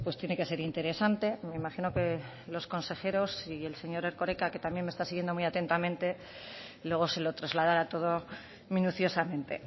tiene que ser interesante me imagino que los consejeros y el señor erkoreka que también me está siguiendo muy atentamente luego se lo trasladará todo minuciosamente